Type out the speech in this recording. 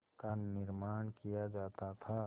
का निर्माण किया जाता था